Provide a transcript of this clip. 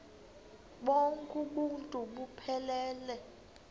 bonk uuntu buphelele